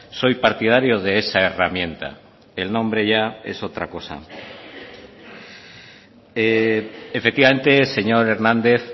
soy partidario de esa herramienta el nombre ya es otra cosa efectivamente señor hernández